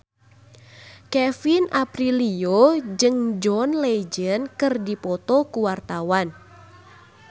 Kevin Aprilio jeung John Legend keur dipoto ku wartawan